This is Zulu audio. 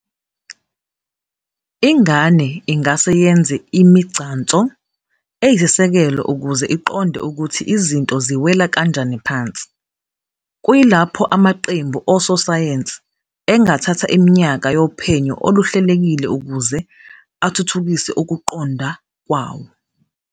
Ingane ingase yenze imigcanso eyisisekelo ukuze iqonde ukuthi izinto ziwela kanjani phansi, kuyilapho amaqembu ososayensi engathatha iminyaka yophenyo oluhlelekile ukuze athuthukise ukuqonda kwawo